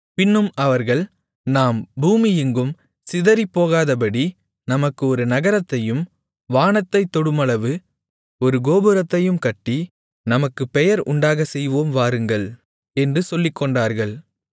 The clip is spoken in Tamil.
பின்னும் அவர்கள் நாம் பூமியெங்கும் சிதறிப்போகாதபடி நமக்கு ஒரு நகரத்தையும் வானத்தைத் தொடுமளவு ஒரு கோபுரத்தையும் கட்டி நமக்குப் பெயர் உண்டாகச் செய்வோம் வாருங்கள் என்று சொல்லிக்கொண்டார்கள்